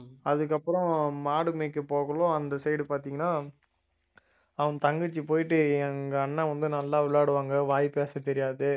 அதுக்கப்புறம் மாடு மேய்க்க போகயில அந்த side பார்த்தீங்கன்னா அவன் தங்கச்சி போயிட்டு எங்க அண்ணன் வந்து நல்லா விளையாடுவாங்க வாய் பேச தெரியாது